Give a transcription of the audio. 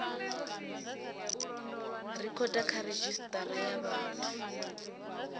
rekhoda kha redzhisitara ya vhathu